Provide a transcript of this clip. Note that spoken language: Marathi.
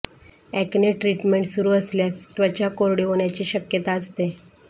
अॅक्ने ट्रीटमेंट सुरू असल्यास त्वचा कोरडी होण्याची शक्यता असते